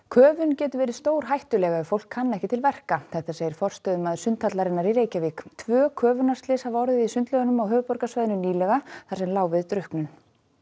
köfun getur verið stórhættuleg ef fólk kann ekki til verka segir forstöðumaður sundhallarinnar í Reykjavík tvö köfunarslys hafa orðið í sundlaugum á höfuðborgarsvæðinu nýlega þar sem lá við drukknun